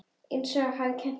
Einsog afi hafði kennt honum.